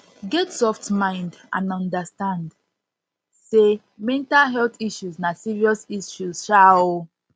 get soft mind and understand sey mental health issues na serious issue um